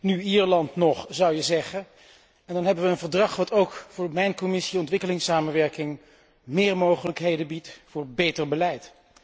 Nu Ierland nog, zou je zeggen, en dan hebben we een verdrag dat ook voor mijn Commissie ontwikkelingssamenwerking meer mogelijkheden biedt voor beter beleid.